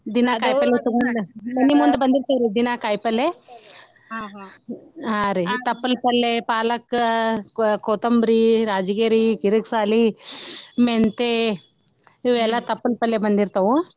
ದಿನಾ ಕಾಯಿಪಲ್ಲೆ ತಗೊಂಡ ಮನಿ ಮುಂದ ಬಂದಿರ್ತಾವ್ರಿ ದಿನಾ ಕಾಯಿಪಲ್ಲೆ ಹಾ ರಿ ತಪ್ಪಲ್ ಪಲ್ಲೆ ಪಾಲಕ್, ಕೊ~ ಕೊತ್ತಂಬರಿ, ರಾಜಗಿರಿ, ಕಿರಕ್ ಸಾಲಿ, ಮೆಂತೆ ಇವೆಲ್ಲಾ ತಪ್ಪಲ್ ಪಲ್ಲೆ ಬಂದಿರ್ತಾವ.